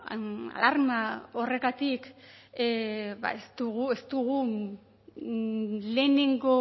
alarma horregatik ez dugu lehenengo